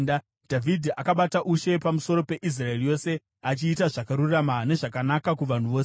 Dhavhidhi akabata ushe pamusoro peIsraeri yose, achiita zvakarurama nezvakanaka kuvanhu vose.